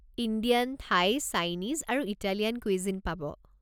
Indian, Thai, Chinese আৰু Italian cuisine পাব।